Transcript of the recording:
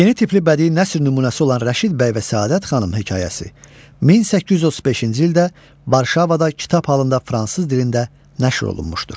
Yeni tipli bədii nəsr nümunəsi olan Rəşid bəy və Səadət xanım hekayəsi 1835-ci ildə Varşavada kitab halında fransız dilində nəşr olunmuşdur.